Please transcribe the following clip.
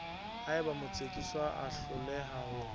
haeba motsekiswa a hloleha ho